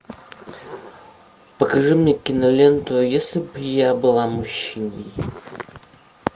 покажи мне киноленту если б я была мужчиной